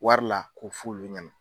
Wari la k'o f'olu ɲɛna.